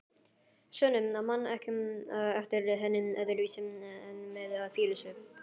Svenni man ekki eftir henni öðruvísi en með fýlusvip.